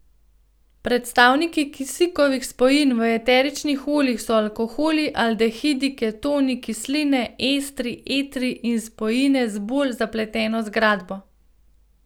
Predstavniki kisikovih spojin v eteričnih oljih so alkoholi, aldehidi, ketoni, kisline, estri, etri in spojine z bolj zapleteno zgradbo.